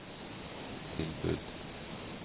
tilbud